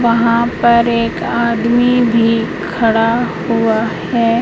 वहां पर एक आदमी भी खड़ा हुआ है।